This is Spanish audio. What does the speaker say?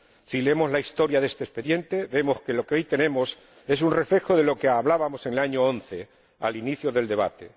Si leemos la historia de este expediente, vemos que lo que hoy tenemos es un reflejo de lo que hablábamos en 2011, al inicio del debate.